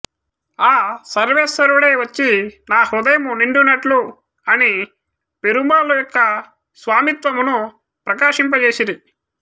ఆ సర్వేశ్వరుడే వచ్చి నా హృదయము నిండునట్లు అని పెరుమాళ్ల యొక్క స్వామిత్వమును ప్రకాశింపచేసిరి